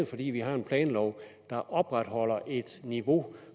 fordi vi har en planlov der opretholder et niveau